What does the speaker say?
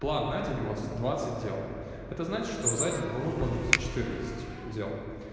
план на день у вас двадцать дел это значит что за день вы выполните четырнадцать дел